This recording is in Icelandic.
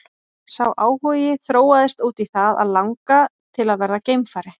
Sá áhugi þróaðist út í það að langa til að verða geimfari.